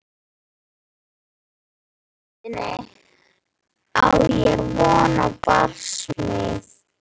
Í undirvitundinni á ég von á barsmíð.